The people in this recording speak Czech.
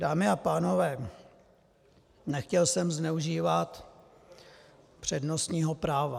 Dámy a pánové, nechtěl jsem zneužívat přednostního práva.